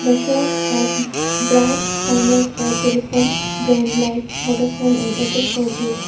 The shop has bright signs light for telephone brand like vodafone and airtel four G.